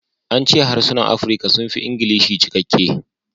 An ce harsunan Afirka sun fi Ingilishi cikakke